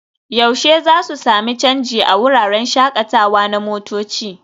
yaushe za su sami canji a wuraren shakatawa na motoci?